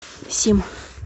сим